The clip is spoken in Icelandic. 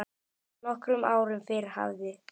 Nokkrum árum fyrr hafði